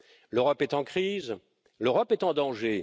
L'Europe est en crise, l'Europe est en danger.